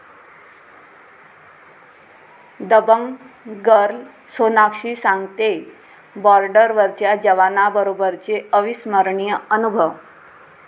Dabangg girl Sonakshi सांगतेय बॉर्डरवरच्या जवानांबरोबरचे अविस्मरणीय अनुभव